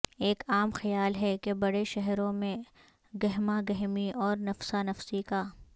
ایک عام خیال ہے کہ بڑے شہروں میں گہماگہمی اور نفسا نفسی کا